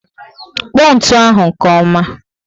Kpọ ntụ ahụ nke ọma